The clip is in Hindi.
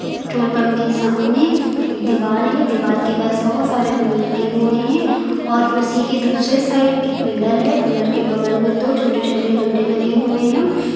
पेट्रोल पंप के सामने एक दीवाल है दीवाल के पास बहुत सारे पेड़ लगे हुए हैं और उसी के दूसरे साइड एक पिलर है पिलर के बगल में दो छोटे छोटे डंडे लगे हुए हैं।